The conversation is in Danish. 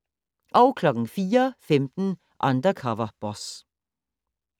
04:15: Undercover Boss